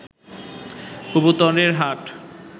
কবুতরের হাট